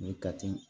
Nin kati